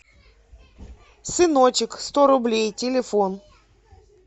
сыночек сто рублей телефон